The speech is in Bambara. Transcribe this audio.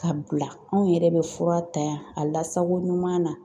Ka bila anw yɛrɛ bɛ fura ta yan a lasako ɲuman na.